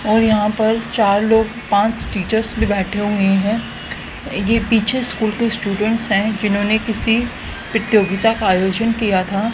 और यहां पर चार लोग पांच टीचर्स भी बैठे हुए हैं ये पीछे स्कूल के स्टूडेंट हैं जिन्होंने किसी प्रतियोगिता का आयोजन किया था।